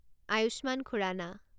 Ayushman Khurana